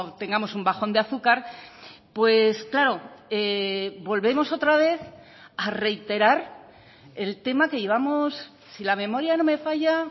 tengamos un bajón de azúcar pues claro volvemos otra vez a reiterar el tema que llevamos si la memoria no me falla